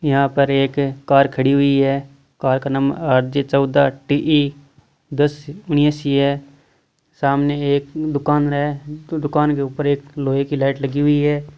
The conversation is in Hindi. यहाँ पे एक कार खड़ी हुई है कार का नम्बर आर जे चौदह टी इ दस उनियासी है सामने एक दुकान है दुकान के ऊपर एक लोहे की लाईट लगी हुई हैं।